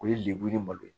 O ye lebu ni malo ye